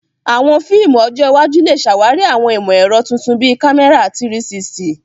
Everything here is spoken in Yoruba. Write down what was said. Àwọn fíìmù ọjọ́ iwájú lè ṣàwárí àwọn ìmọ̀ ẹ̀rọ tuntun bíi kámẹ́rà 360.